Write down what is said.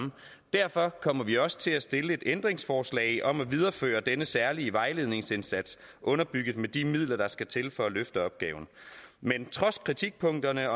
derfor kommer vi også til at stille et ændringsforslag om at videreføre denne særlige vejledningsindsats underbygget med de midler der skal til for at løfte opgaven men trods kritikpunkterne